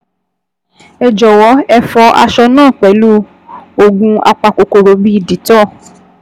Ẹ jọ̀wọ́ ẹ fọ aṣọ náà pẹ̀lú oògùn apakòkòrò bíi Dettol